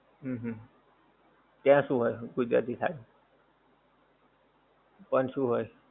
હમ ત્યાં શું હોય ગુજરાતી થાળીનું પણ શું હોય?